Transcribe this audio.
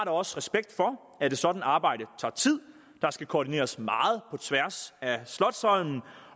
også respekt for at et sådant arbejde tager tid der skal koordineres meget tværs af slotsholmen